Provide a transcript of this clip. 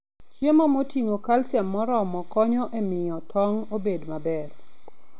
Chiemo moting'o calcium moromo konyo e miyo tong' obed maber.